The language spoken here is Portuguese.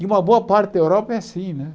E uma boa parte da Europa é assim né.